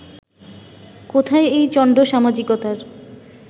কোথায় এই চণ্ড-সামাজিকতার